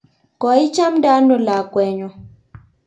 koichamde ano lakwenyo?